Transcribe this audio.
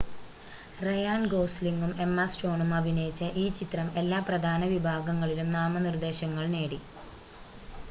Ryan ഗോസ്‌ലിംഗും Emma സ്റ്റോണും അഭിനയിച്ച ഈ ചിത്രം എല്ലാ പ്രധാന വിഭാഗങ്ങളിലും നാമനിർദ്ദേശങ്ങൾ നേടി